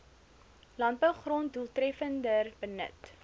landbougrond doeltreffender benut